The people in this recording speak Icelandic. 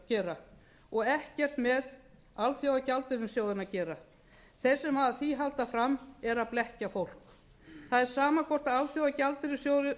gera og ekkert með alþjóðagjaldeyrissjóðinn að gera þeir sem halda því fram eru að blekkja fólk það er sama hvort alþjóðagjaldeyrissjóðurinn